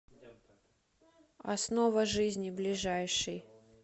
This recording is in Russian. основа жизни ближайший